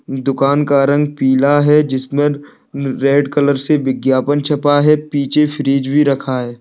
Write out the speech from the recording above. इ दुकान का रंग पीला है जिसमे रेड कलर से विज्ञापन छपा है पीछे फ्रिज भी रखा है।